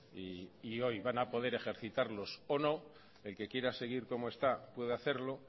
y hoy van a poder ejercitarlos o no el que quiera seguir como está puede hacerlo